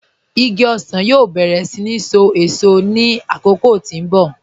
Igi ọsan yóò bẹ̀rẹ̀ iṣelọ́pọ̀ awọn èṣò ní akókò tí n bọ̀.